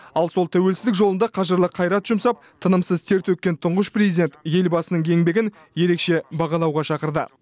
ал сол тәуелсіздік жолында қажырлы қайрат жұмсап тынымсыз тер төккен тұңғыш президент елбасының еңбегін ерекше бағалауға шақырды